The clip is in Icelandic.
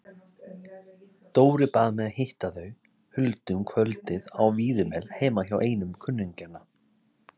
Dóri bað mig að hitta þau Huldu um kvöldið á Víðimel heima hjá einum kunningjanna.